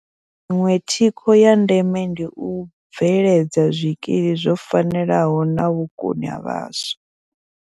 Iṅwe thikho ya ndeme ndi u bveledza zwikili zwo fanelaho na vhukoni ha vhaswa.